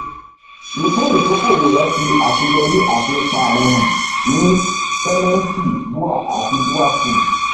ìpín ìdókòwò rẹ fi àṣeyọrí àti ipa rẹ hàn ní sẹmẹǹtì bua àti bua foods